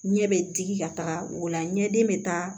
Ɲɛ bɛ digi ka taga o la ɲɛden bɛ taa